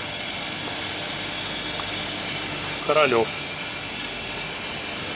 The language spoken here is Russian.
королев